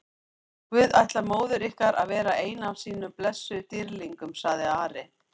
Guð ætlar móður ykkar að verða einn af sínum blessuðum dýrlingum, sagði Ari.